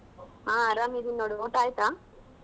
ಹಾ ಆರಾಮಿದ್ದೀನಿ ನೋಡು ಊಟ ಆಯ್ತಾ?